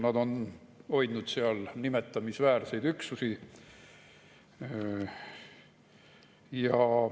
Nad on hoidnud seal nimetamisväärseid üksusi.